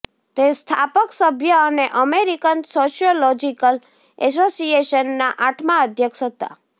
તે સ્થાપક સભ્ય અને અમેરિકન સોશિયોલોજીકલ એસોસિએશનના આઠમા અધ્યક્ષ હતા